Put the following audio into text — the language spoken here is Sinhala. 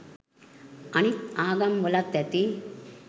අනිත් ආගම් වලත් ඇති